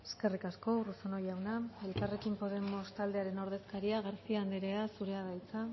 eskerrik asko urruzuno jauna elkarrekin podemos taldearen ordezkaria garcía anderea zurea da hitza